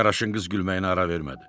Qaraşın qız gülməyinə ara vermədi.